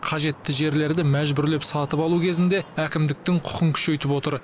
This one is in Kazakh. қажетті жерлерді мәжбүрлеп сатып алу кезінде әкімдіктің құқығын күшейтіп отыр